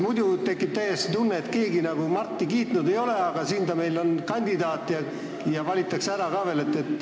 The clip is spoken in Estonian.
Muidu tekib täiesti selline tunne, et keegi Marti kiitnud ei ole, aga ta on meil siin kandidaat ja valitakse ära ka veel.